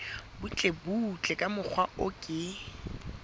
butlebutle ka mokgwa o ke